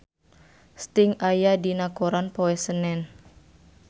Sting aya dina koran poe Senen